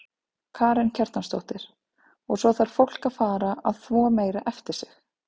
Karen Kjartansdóttir: Og svo þarf fólk að fara að þvo meira eftir sig?